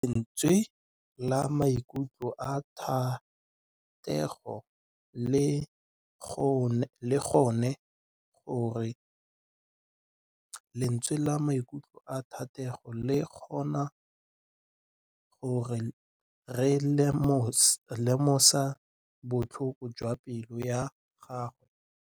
Lentswe la maikutlo a Thategô le kgonne gore re lemosa botlhoko jwa pelô ya gagwe.